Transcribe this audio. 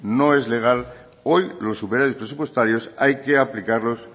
no es legal hoy los superávit presupuestarios hay que aplicarlos